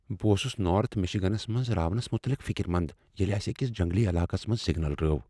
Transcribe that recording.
بہٕ اوسس نارتھ مشیگنس منٛز راونس مٗتعلق فِكر مند ییٚلہ اسہ أکس جنگلی علاقس منٛز سِگنل رٲو ۔